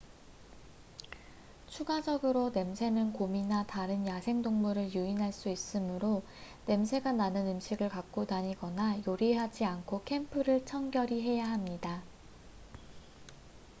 추가적으로 냄새는 곰이나 다른 야생동물을 유인할 수 있으므로 냄새가 나는 음식을 갖고 다니거나 요리하지 않고 캠프를 청결히 해야 합니다